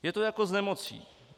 Je to jako s nemocí.